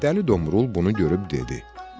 Dəli Domrul bunu görüb dedi: